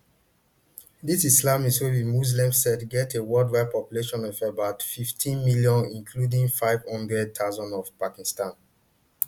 di ismailis wey be muslim sect get a worldwide population of about fifteen million including five hundred thousand for pakistan